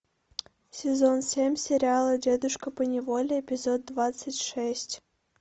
сезон семь сериала дедушка поневоле эпизод двадцать шесть